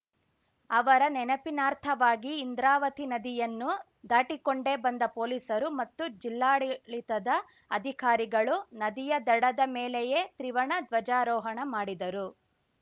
ಅವರ ನೆನಪಿನಾರ್ಥವಾಗಿ ಇಂದ್ರಾವತಿ ನದಿಯನ್ನು ದಾಟಿಕೊಂಡೇ ಬಂದ ಪೊಲೀಸರು ಮತ್ತು ಜಿಲ್ಲಾಡಳಿತದ ಅಧಿಕಾರಿಗಳು ನದಿಯ ದಡದ ಮೇಲೆಯೇ ತ್ರಿವರ್ಣ ಧ್ವಜಾರೋಹಣ ಮಾಡಿದರು